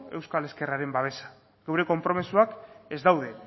euskal ezkerraren babesa geure konpromisoak ez daude